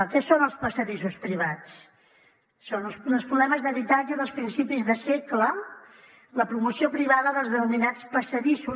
què són els passadissos privats són uns problemes d’habitatge de principis de segle la promoció privada dels denominats passadissos